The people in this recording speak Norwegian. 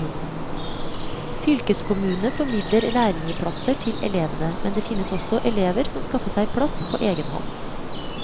Fylkeskommunene formidler lærlingeplasser til elevene, men det finnes også elever som skaffer seg plass på egen hånd.